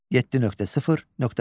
7.0.4.